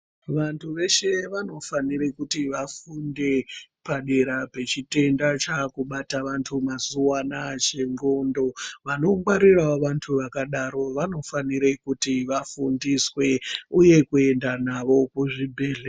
Vantu veshe vanofanira kuti vafunde padera pechitenda chaakubate vantu mazuvaanaya chenxondo. Vanongwarirawo vantu vakadaroko vanofanire kuti vafundiswe uye kuenda navo kuzvibhedhlera.